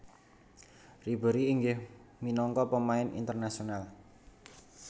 Ribéry inggih minangka pemain internasional